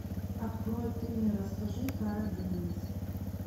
открой ты мне расскажи карадениз